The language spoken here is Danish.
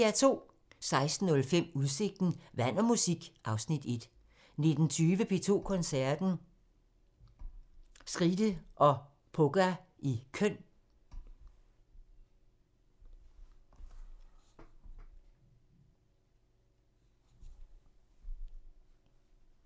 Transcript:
16:05: Udsigten – Vand og musik (Afs. 1) 19:20: P2 Koncerten – Skride og Poga i Køln